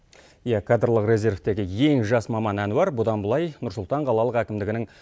иә кадрлық резервтегі ең жас маман әнуар бұдан былай нұрсұлтан қалалық әкімдігінің